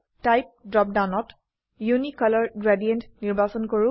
type drop ডাউনত ইউনিকলৰ gradient নিৰ্বাচন কৰো